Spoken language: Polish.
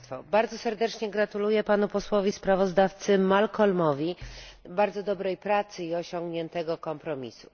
Bardzo serdecznie gratuluję posłowi sprawozdawcy Malcolmowi Harbourowi bardzo dobrej pracy i osiągniętego kompromisu.